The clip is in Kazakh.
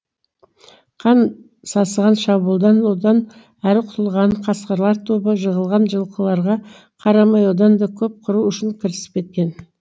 қан сасыған шабуылдан одан әрі құтылған қасқырлар тобы жығылған жылқыларға қарамай одан да көп қыру үшін кірісіп кеткен